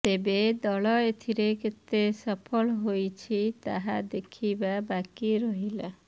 ତେବେ ଦଳ ଏଥିରେ କେତେ ସଫଳ ହେଉଛି ତାହା ଦେଖିବା ବାକି ରହିଲା